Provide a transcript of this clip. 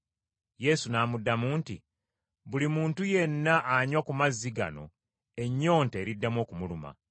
Yesu n’amuddamu nti, “Buli muntu yenna anywa ku mazzi gano ennyonta eriddamu okumuluma.